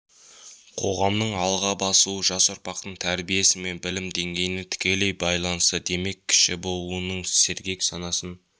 қоғамның алға басуы жас ұрпақтың тәрбиесі мен білім деңгейіне тікелей байланысты демек кіші буынның сергек санасын